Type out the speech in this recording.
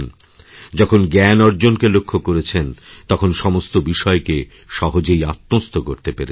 যখন জ্ঞান অর্জনকেলক্ষ্য করেছেন তখন সমস্ত বিষয়কে সহজেই আত্মস্থ করতে পেরেছেন